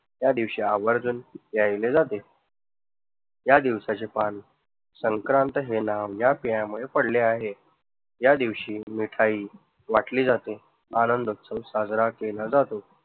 या दिवशी आवर्जून प्यायले जाते. या दिवसाच्या संक्रांत हे नाव या पडले आहे. या दिवशी मिठाई वाटली जाते, आनंद सन साजरा केला जातो.